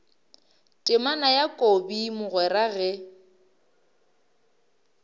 temana ya kobi mogwera ge